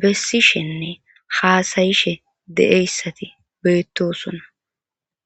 bessishenne haasayishe de7eyssati beettosona.